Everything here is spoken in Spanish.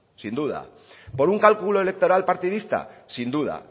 sin duda por un cálculo electoral partidista sin duda